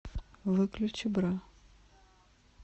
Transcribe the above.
выключи бра